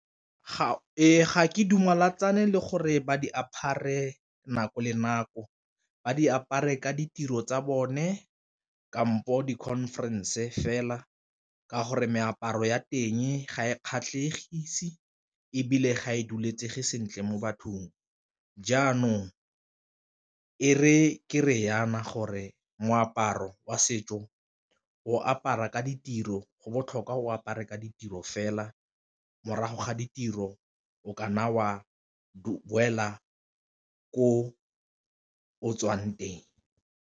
Ee, ga ke le gore ba di apare nako le nako ba di apare ka ditiro tsa bone kampo di-conference fela ka gore meaparo ya teng ga e kgatlhelegise ebile ga e duletsege sentle mo bathong, jaanong e re ke re jaana gore moaparo wa setso o apara ka ditiro go botlhokwa o apare ka ditiro fela morago ga ditiro o kanna o a o boela ko o tswang teng.